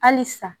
Halisa